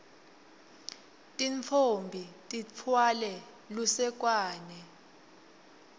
tintfombi titfwale lusekwane